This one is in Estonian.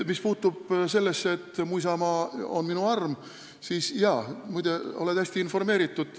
Mis puutub laulu "Mu isamaa on minu arm", siis sa oled muide hästi informeeritud.